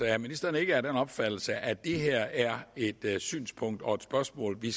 er ministeren ikke af den opfattelse at det her er et synspunkt og spørgsmål vi